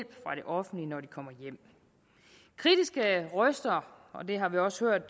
offentlige når de kommer hjem kritiske røster og det har vi også hørt